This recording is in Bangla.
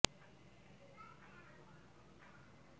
বৃদ্ধং চ মে বৃদ্ধিশ্চ মে সত্যং চ মে শ্রদ্ধা চ মে